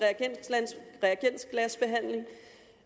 reagensglasbehandling og